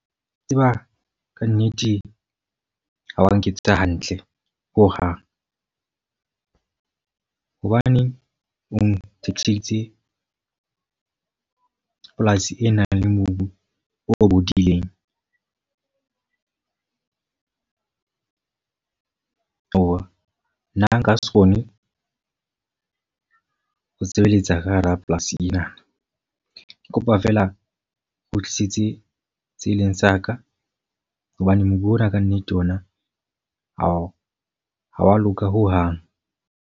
Wa tseba ka nnete ha wa nketsetsa hantle, ho hang. Hobaneng o nthekiseditse polasi e nang le mobu o bodileng. aowa nna nka se kgone ho sebeletsa ka hara polasi ena. Ke kopa fela o tlisetse tse e leng sa ka. Hobane mobu ona ka nnete ona ha wa loka ho hang.